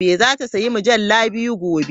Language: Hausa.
Za ta sayi mujallu biyu gobe.